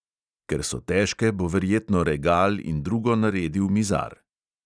Ker so težke, bo verjetno regal in drugo naredil mizar.